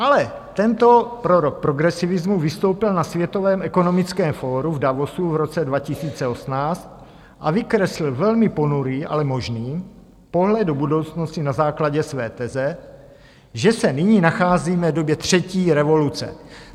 Ale tento prorok progresivismu vystoupil na Světovém ekonomickém fóru v Davosu v roce 2018 a vykreslil velmi ponurý, ale možný pohled do budoucnosti na základě své teze, že se nyní nacházíme v době třetí revoluce.